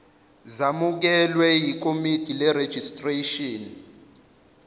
zamukelwe yikomidi lerejistreshini